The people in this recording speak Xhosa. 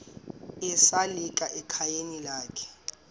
esalika ekhayeni lakhe